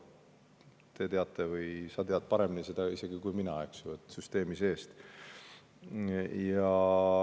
Sa tead isegi paremini kui mina, eks ju, seda süsteemi seest.